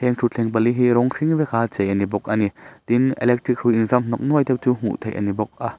heng thutthleng pali hi rawng hring veka chei a ni bawk a ni tin electric hrui in zam hnawk nuai te chu hmuh theih a ni bawk a.